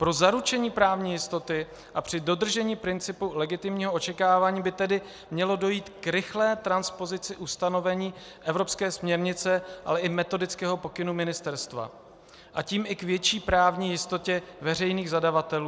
Pro zaručení právní jistoty a při dodržení principu legitimního očekávání by tedy mělo dojít k rychlé transpozici ustanovení evropské směrnice, ale i metodického pokynu ministerstva, a tím i k větší právní jistotě veřejných zadavatelů.